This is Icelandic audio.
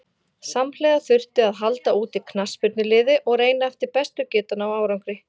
Samhliða þurfti að halda úti knattspyrnuliði og reyna eftir bestu getu að ná árangri.